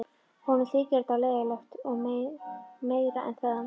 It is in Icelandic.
Honum þyki þetta leiðinlegt og meira en það.